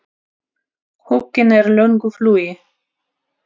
Huginn er í löngu flugi.